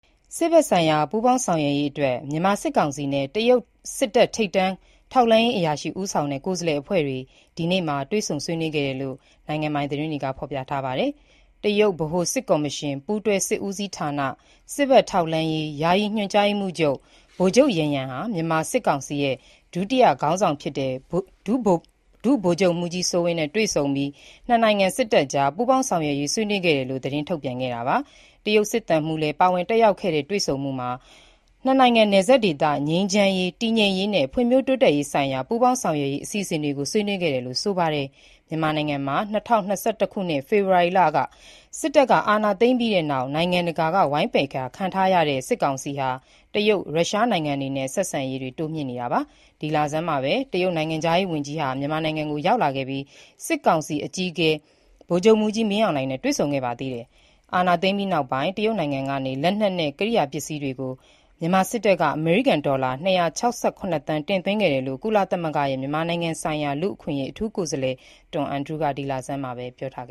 စစ်ဘက်ဆိုင်ရာ ပူးပေါင်းဆောင်ရွက်ရေးအတွက် မြန်မာစစ်ကောင်စီနဲ့ တရုတ်ထိပ်တန်း ထောက်လှမ်းရေးအရာရှိ ဦးဆောင်တဲ့ ကိုယ်စားလှယ်အဖွဲ့ ဆွေးနွေးခဲ့ကြောင်း နိုင်ငံပိုင်သတင်းတွေက ဖော်ပြပါတယ်။ တရုတ်ဗဟိုစစ်ကော်မရှင်၊ ပူးတွဲစစ်ဦးစီးဌာန၊ စစ်ဘက်ထောက်လှမ်းရေး ယာယီညွှန်ကြားရေးမှူးချုပ် ဗိုလ်ချုပ် ယန်ယန် ဟာ စစ်ကောင်စီ ဒုတိယ ဥက္ကဌ၊ ဒုတိယ ဗိုလ်ချုပ်မှူးကြီး စိုးဝင်းနဲ့ တွေ့ဆုံပြီး ၂ နိုင်ငံ စစ်တပ်ကြား ပူးပေါင်းဆောင်ရွက်ရေး ဆွေးနွေးခဲ့တယ်လို့ သတင်းထုတ်ပြန်ခဲ့တာပါ။ တရုတ်စစ်သံမှုးလည်း ပါဝင်တက်ရောက်ခဲ့တဲ့ တွေ့ဆုံမှုအတွင်း ၂ နိုင်ငံနယ်စပ်ဒေသ ငြိမ်းချမ်းရေး၊ တည်ငြိမ်ရေးနဲ့ ဖွံ့ဖြိုးတိုးတက်ရေးဆိုင်ရာ ပူးပေါင်းဆောင်ရွက်ရေး အစီအစဉ်တွေကို ဆွေးနွေးခဲ့တယ်လို့လည်း ဆိုပါတယ်။ မြန်မာနိုင်ငံမှာ ၂၀၂၁ ခုနှစ် ဖေဖော်ဝါရီလ စစ်တပ်က အာဏာသိမ်းပြီးနောက်ပိုင်း နိုင်ငံတကာက ဝိုင်းပယ်ခံရတဲ့ စစ်ကောင်စီဟာ တရုတ်၊ရုရှား နိုင်ငံတွေနဲ့ ဆက်ဆံရေးတွေ တိုးမြှင့်နေတာပါ။ မေလဆန်းတုန်းကလည်း တရုတ်နိုင်ငံခြားရေးဝန်ကြီး မြန်မာနိုင်ငံကို လာရောက်ခဲ့ပြီး စစ်ကောင်စီ အကြီးအကဲ ဗိုလ်ချုပ်မှူးကြီး မင်းအောင်လှိုင်နဲ့ တွေ့ဆုံခဲ့ပါတယ်။ အာဏာသိမ်းပြီးနောက်ပိုင်း တရုတ်နိုင်ငံကနေ လက်နက်နဲ့ ကိရိယာပစ္စည်းတွေကို မြန်မာစစ်တပ်က အမေရိကန်ဒေါ်လာ ၂၆၇ သန်း တင်သွင်းခဲ့တယ်လို့ ကုလသမဂ္ဂရဲ့ မြန်မာနိုင်ငံဆိုင်ရာ လူ့အခွင့်အရေး အထူးကိုယ်စားလှယ် Tom Andrews ကလည်း ဒီလဆန်းမှာပဲ ပြောထားပ